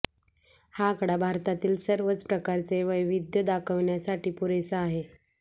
हा आकडा भारतातील सर्वच प्रकारचे वैविध्य दाखविण्यास पुरेसा आहे